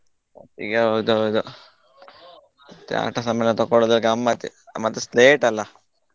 ಒಟ್ಟಿಗೆ ಹೌದೌದು ಮತ್ತೆ ಆಟ ಸಾಮಾನ್ ತಗೊಳುದೇ ಗಮ್ಮತ್ ಮತ್ತೆ slate ಅಲ್ಲಾ .